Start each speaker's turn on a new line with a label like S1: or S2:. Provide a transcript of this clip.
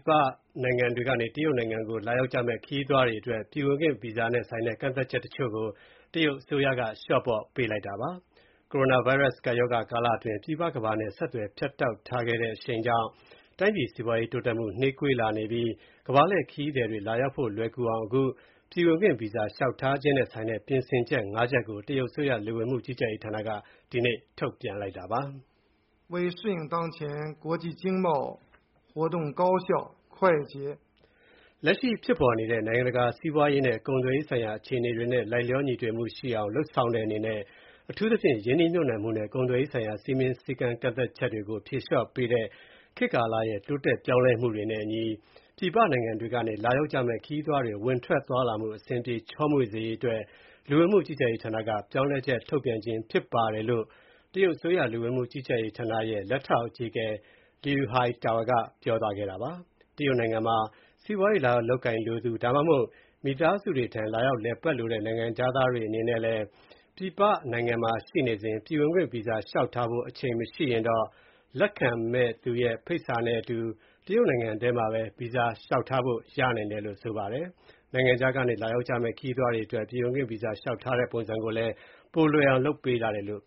S1: ပနိုင်ငံတွေကနေ တရုတ်ပြည်ကို လာရောက်ကြမယ့် ခရီးသွားတွေအတွက် ပြည်ဝင်ခွင့်ဗီဇာနဲ့ဆိုင်တဲ့ ကန့်သတ်ချက်တချို့ကို တရုတ်အစိုးရက လျှော့ပေါ့ပေးလိုက်ပါတယ်။ ကိုရိုနာဗိုင်းရပ်စ် ကပ်ရောဂါကာလအတွင်း ပြည်ပကမ္ဘာနဲ့ အဆက်အသွယ် ဖြတ်တောက်ထားခဲ့တဲ့ အရှိန်ကြောင့် တိုင်းပြည်စီးပွား တိုးတက်မှု နှေးကွေးနေတာကြောင့် ကမ္ဘာလှည့်ခရီးသည်တွေ လာရောက်ဖို့ လွယ်ကူအောင် ပြည်ဝင်ခွင့်ဗီဇာ လျှောက်ထားခြင်းနဲ့ဆိုင်တဲ့ ပြင်ဆင်ချက် (၅) ချက်ကို တရုတ်အစိုးရ လူဝင်မှုကြီးကြပ်ရေးဌာနက ဒီကနေ့ ထုတ်ပြန်လိုက်တာပါ။ “
S2: လက်ရှိဖ
S1: ြစ်ပေါ်နေတဲ့ နိုင်ငံတကာ စီးပွားရေးနဲ့ ကုန်သွယ်ရေးဆိုင်ရာ အခြေအနေတွေနဲ့ လိုက်လျော ညီထွေမှုရှိအောင် လုပ်ဆောင်တဲ့အနေနဲ့၊ အထူးသဖြင့် ရင်းနှီးမြုပ်နှံမှုနဲ့ ကုန်သွယ်ရေးဆိုင်ရာ စည်းမျဉ်း ကန့်သတ်ချက်တွေကို ဖြေလျော့ပေးနေတဲ့ ခေတ်ကာလရဲ့ တိုးတက် ပြောင်းလဲမှုတွေနဲ့အညီ ပြည်ပနိုင်ငံတွေကနေ လာရောက်ကြမယ့် ခရီးသွားတွေ ဝင်ထွက် သွားလာမှု အဆင်ပြေ ချောမွေ့စေရေးအတွက် လူဝင်မှုကြီးကြပ်ရေးဌာနက ပြောင်းလဲချက် ထုတ်ပြန်ခြင်းဖြစ်ပါတယ်” - လို့ တရုတ်အစိုးရ လူဝင်မှုကြီးကြပ်ရေးဌာနရဲ့ လက်ထောက် အကြီးအကဲ Liu Haitao က ပြောသွားတာပါ။ တရုတ်နိုင်ငံမှာ စီးပွားရေးလာရောက် လုပ်ကိုင်လိုသူ၊ ဒါမှမဟုတ် မိသားစုတွေထံ လာရောက်လည်ပတ်လိုတဲ့ နိုင်ငံခြားသားတွေ အနေနဲ့လည်း ပြည်ပနိုင်ငံမှာ ရှိနေစဉ် ပြည်ဝင်ခွင့်ဗီဇာလျှောက်ထားဖို့ အချိန်မရှိတော့ရင် လက်ခံမယ့်သူရဲ့ ဖိတ်စာနဲ့အတူ တရုတ်နိုင်ငံထဲမှာဘဲ ဗီဇာ လျှောက်ထားလို့ ရနိုင်တယ်လို့ ဆိုပါတယ်။ နိုင်ငံခြားကနေ လာရောက်ကြမယ့် ခရီးသွားတွေအတွက် ပြည်ဝင်ခွင့်ဗီဇာ လျှောက်ထားတဲ့ ပုံစံကိုလည်း ပိုမို လွယ်ကူအောင် လုပ်ဆောင်ပေးထားတယ်လို့